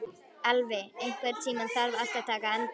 Elvi, einhvern tímann þarf allt að taka enda.